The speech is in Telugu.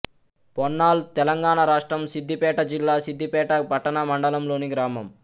పోన్నాల్ తెలంగాణ రాష్ట్రం సిద్ధిపేట జిల్లా సిద్ధిపేట పట్టణ మండలంలోని గ్రామం